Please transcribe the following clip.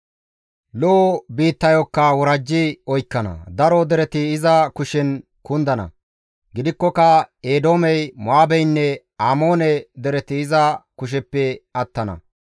Lo7o biittayokka worajji oykkana; daro dereti iza kushen kundana; gidikkoka Eedoomey, Mo7aabeynne Amoone dereti iza kusheppe attana.